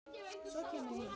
Svo kemur nýtt.